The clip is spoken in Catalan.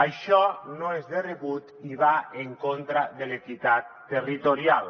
això no és de rebut i va en contra de l’equitat territorial